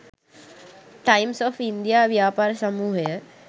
Times of India ව්‍යාපාර සමූහය